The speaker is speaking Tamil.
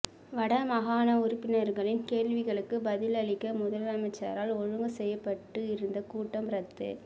வடமாகாண உறுப்பினர்களின் கேள்விகளுக்கு பதிலளிக்க முதலமைச்சரால் ஒழுங்கு செய்யப்பட்டு இருந்த கூட்டம் ரத்து